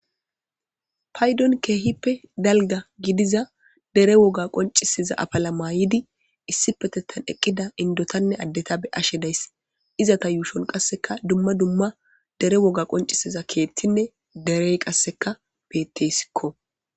paydon keehippe dalga gidiza dere woga qoncisiza apala mayidi issi petettan eqqida indotanne addeta be ashe days izata yuushon qasseka dumma dumma dere woga qoncisiza keettinne derey qasseka pettesikko